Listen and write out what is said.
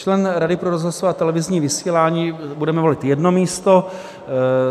Člen Rady pro rozhlasové a televizní vysílání - budeme volit jedno místo.